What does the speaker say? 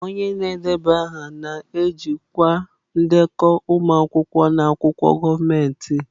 Onye na-edeba aha na-ejikwa ndekọ ụmụ akwụkwọ na akwụkwọ gọọmentị.